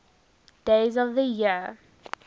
days of the year